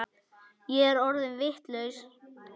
Ég er orðin vitlaus